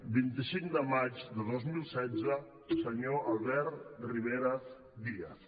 vint i cinc de maig de dos mil setze senyor albert rivera díaz